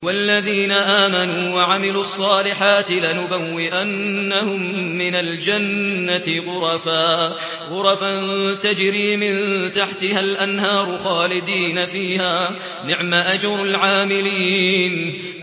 وَالَّذِينَ آمَنُوا وَعَمِلُوا الصَّالِحَاتِ لَنُبَوِّئَنَّهُم مِّنَ الْجَنَّةِ غُرَفًا تَجْرِي مِن تَحْتِهَا الْأَنْهَارُ خَالِدِينَ فِيهَا ۚ نِعْمَ أَجْرُ الْعَامِلِينَ